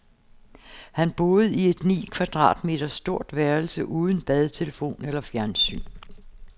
Han boede i et ni kvadratmeter stort værelse uden bad, telefon eller fjernsyn.